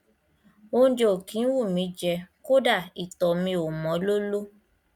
óúnjẹ ò kí ń wù mí í jẹ kódà ìtọ mi ò mọ lóló